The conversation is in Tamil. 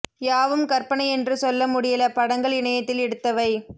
யாவும் கற்பனை என்று சொல்ல முடியல படங்கள் இணையத்தில் எடுத்தவை